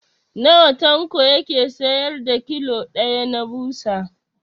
Nawa Tanko yake siyar da kilo ɗaya na ɓusa?